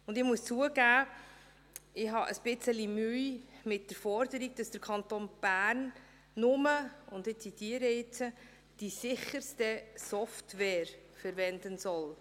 Und ich muss zugeben, ich habe ein wenig Mühe mit der Forderung, dass der Kanton Bern nur, und ich zitiere jetzt, «die sicherste Software verwenden soll».